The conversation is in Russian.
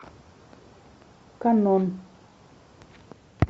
канон